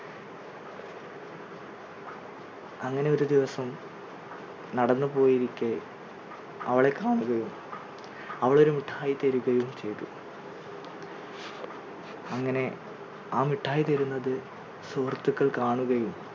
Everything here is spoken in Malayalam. അങ്ങനെ ഒരു ദിവസം നടന്നു പോയിരിക്കെ അവളെ കാണുകയും അവൾ ഒരു മിഠായി തരികയും ചെയ്തു അങ്ങനെ ആ മിഠായി തരുന്നത് സുഹൃത്തുക്കൾ കാണുകയും